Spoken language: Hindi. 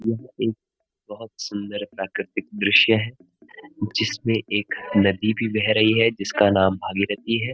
यहाँ एक बहोत सुंदर प्राकृत दृश्य है जिसमें एक नदी भी बह रही है जिसका नाम भगीरथी है।